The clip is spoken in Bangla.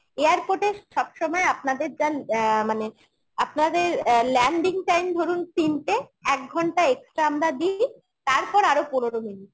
airport এ সবসময় আপনাদের যার অ্যাঁ মানে আপনাদের অ্যাঁ landing time ধরুন তিনটে এক ঘন্টা extra আমরা দিই তারপর আরো পনেরো minute